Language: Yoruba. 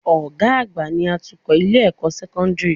Ọ̀gá àgbà ni atukọ̀ Ilé-ẹ̀kọ́ sẹ́kọ́ńdìrì